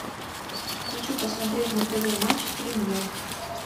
хочу посмотреть на тв матч премьер